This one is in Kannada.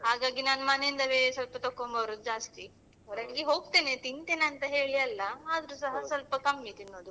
ಹಾಗಾಗಿ ನಾನು ಮನೆಯಿಂದವೇ ಸ್ವಲ್ಪ ತೊಕೊಂಡ್ ಬರುವುದು ಜಾಸ್ತಿ ಹೊರಗೆ ಹೋಗ್ತೇನೆ ತಿಂತೇನೆ ಅಂತ ಹೇಳಿ ಅಲ್ಲ ಆದ್ರೂಸ ಸ್ವಲ್ಪ ಕಮ್ಮಿ ತಿನ್ನೋದು .